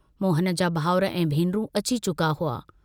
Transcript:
मोहन जा भाउर ऐं भेनरूं अची चुका हुआ।